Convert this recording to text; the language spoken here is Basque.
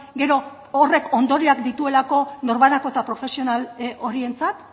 gero horrek ondorioak dituelako norbanako eta profesional horientzat